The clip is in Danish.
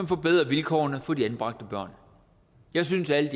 forbedre vilkårene for de anbragte børn jeg synes at